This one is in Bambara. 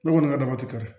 Ne kɔni ka daba ti kari